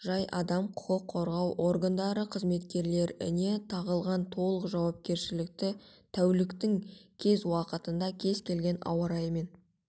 жай адам құқық қорғау органдары қызметкерлеріне тағылған толық жауапкершілікті тәуліктің кез уақытында кез келген ауа-райымен